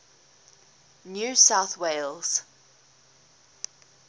new south wales